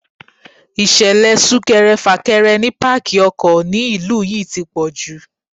Ìṣẹ̀lẹ̀ súnkẹrẹ fàkẹrẹ ni pákí ọkọ̀ ni ìlú yí ti pọ̀jù.